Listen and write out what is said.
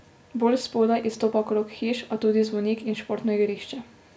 Bolj spodaj izstopa krog hiš, a tudi zvonik in športno igrišče.